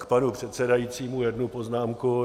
K panu předsedajícímu jednu poznámku.